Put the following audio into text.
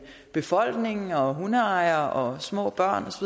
befolkning og hundeejere og små børn